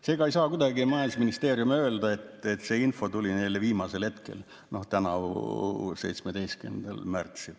Seega ei saa majandusministeerium kuidagi öelda, et see info tuli neile viimasel hetkel, noh, tänavu 17. märtsil.